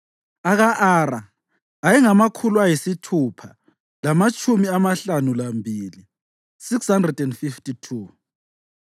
aka-Ara ayengamakhulu ayisithupha lamatshumi amahlanu lambili (652),